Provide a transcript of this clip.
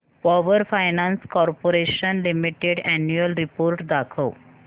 power finance corporation limited annual report दाखव